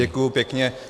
Děkuji pěkně.